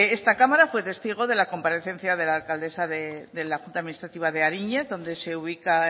esta cámara fue testigo de la comparecencia de la alcaldesa de la junta administrativa de ariñéz donde se ubica